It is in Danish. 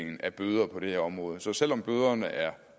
bøder på det her område så selv om bøderne er